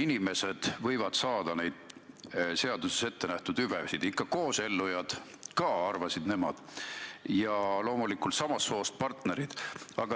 inimesed võivad saada neid seaduses ettenähtud hüvesid, ikka koosellunud ka, arvasid nemad, ja loomulikult samast soost partnerid.